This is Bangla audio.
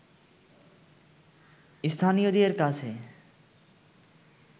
স্থানীয়দের কাছে